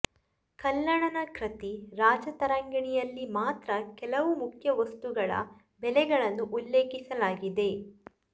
ಕಲ್ಹಣನ ಕೃತಿ ರಾಜತರಂಗಿಣಿಯಲ್ಲಿ ಮಾತ್ರ ಕೆಲವು ಮುಖ್ಯ ವಸ್ತುಗಳ ಬೆಲೆಗಳನ್ನು ಉಲ್ಲೇಖಿಸಲಾಗಿದೆ